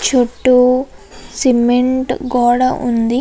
చుట్టూ సిమెంట్ గోడ వుంది.